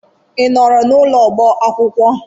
I nọọrọ n'ụlọ ọba akwụkwọ?